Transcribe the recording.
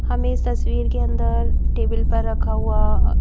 हमें इस तस्वीर के अंदर टेबल पर रखा हुआ--